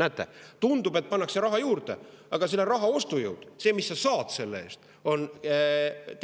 Näete, tundub, et pannakse raha juurde, aga raha ostujõud, see, mis sa saad selle eest, on